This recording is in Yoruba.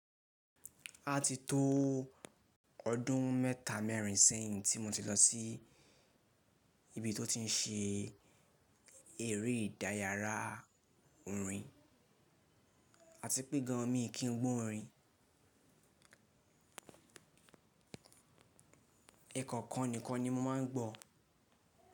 A ti tó ọdún mẹ́ta mẹ́rin sẹ́yìn tí mo ti lọ sí ibi tó ti ń ṣe eré ìdáyara orin. A ti pé gan an mi kí n gbó orin. Ẹ̀kọ̀kan nìkan ni mo máa ń gbọ̀.